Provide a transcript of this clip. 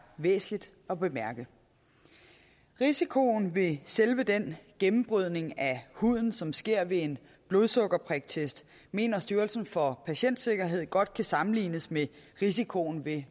væsentligt at bemærke risikoen ved selve den gennembrydning af huden som sker ved en blodsukkerpriktest mener styrelsen for patientsikkerhed godt kan sammenlignes med risikoen ved